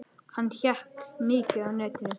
Hann hékk mikið á netinu.